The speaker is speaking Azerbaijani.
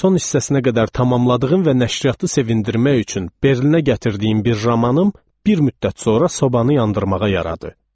Son hissəsinə qədər tamamladığım və nəşriyyatı sevindirmək üçün Berlinə gətirdiyim bir romanım bir müddət sonra sobanı yandırmağa yaradı.